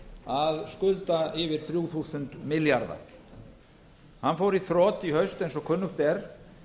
að skulda yfir þrjú þúsund milljarða hann fór í þrot í haust eins og kunnugt er